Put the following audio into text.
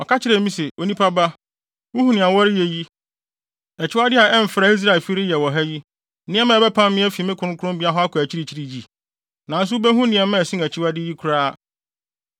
Ɔka kyerɛɛ me se, “Onipa ba, wuhu nea wɔreyɛ yi, akyiwade a ɛmfra, a Israelfi reyɛ wɔ ha yi, nneɛma a ɛbɛpam me afi me kronkronbea akɔ akyirikyiri yi? Nanso wubehu nneɛma a ɛsen akyiwade yi koraa.”